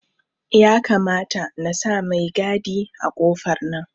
Ya kamata nasa mai gadi a kofar nan